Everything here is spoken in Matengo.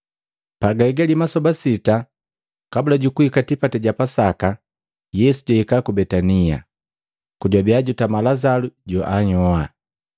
Pagahigali masoba sita kabula jukuhika tipati ja Pasaka, Yesu jwahika ku Betania kojwabia jutama Lazalu joanhyoa.